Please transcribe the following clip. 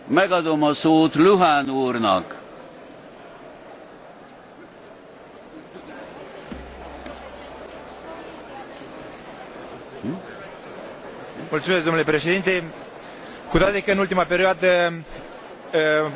Domnule președinte, cu toate că în ultima perioadă industrializarea a fost neglijată, totuși am susținut acest raport, care aduce o serie de îmbunătățiri, bune, dar insuficiente în ceea ce privește relansarea industrializării în Uniunea Europeană.